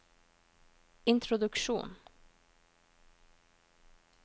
introduksjon